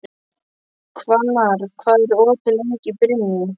Hvannar, hvað er opið lengi í Brynju?